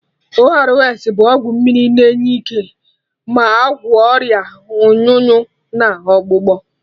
ORS bụ ọgwụ mmiri na enye ike ma agwọ Ọrịa ọnyụnyụ na ọgbụgbọ